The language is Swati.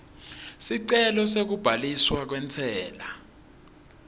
sicelo sekubhaliswa kwentsela